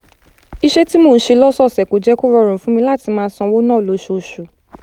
iṣẹ́ tí mò ń ṣe lọ́sọ̀ọ̀sẹ̀ kò jẹ́ kó rọrùn fún mi láti máa ṣọ́wó ná lóṣooṣù